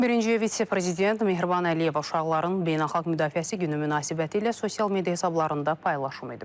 Birinci vitse-prezident Mehriban Əliyeva uşaqların beynəlxalq müdafiəsi günü münasibətilə sosial media hesablarında paylaşım edib.